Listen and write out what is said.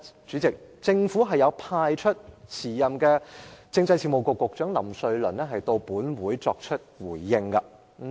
主席，政府當時派出了政制及內地事務局局長林瑞麟前來回應。